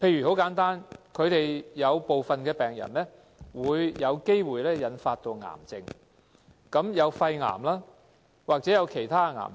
簡單而言，有部分病人有機會由肺積塵病引發癌症，包括肺癌或其他癌症。